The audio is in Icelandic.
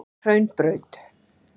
Hraunbraut